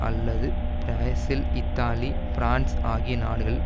அல்லது Brazil Italy France ஆகிய நாடுகளில்